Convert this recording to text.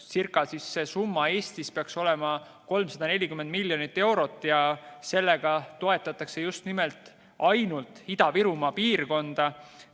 Eesti jaoks peaks see summa olema ca 340 miljonit eurot ja sellega toetatakse just nimelt ainult Ida-Virumaa piirkonda.